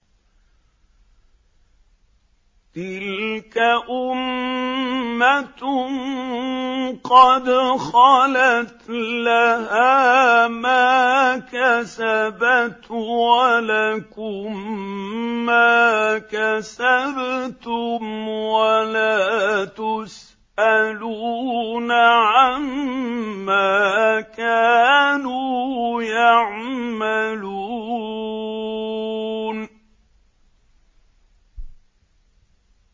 تِلْكَ أُمَّةٌ قَدْ خَلَتْ ۖ لَهَا مَا كَسَبَتْ وَلَكُم مَّا كَسَبْتُمْ ۖ وَلَا تُسْأَلُونَ عَمَّا كَانُوا يَعْمَلُونَ